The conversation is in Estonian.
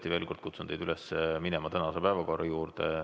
Ma tõesti kutsun veel kord teid üles minema tänase päevakorra juurde.